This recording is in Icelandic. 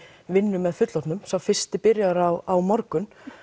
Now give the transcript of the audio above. vinnu með fullorðnum sá fyrsti byrjar á morgun